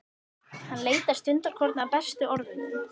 Hann leitar stundarkorn að bestu orðunum.